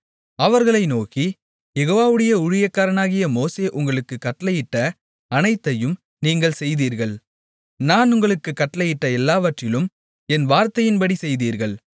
அவர்களை நோக்கி யெகோவாவுடைய ஊழியக்காரனாகிய மோசே உங்களுக்குக் கட்டளையிட்ட அனைத்தையும் நீங்கள் செய்தீர்கள் நான் உங்களுக்குக் கட்டளையிட்ட எல்லாவற்றிலும் என் வார்த்தையின்படி செய்தீர்கள்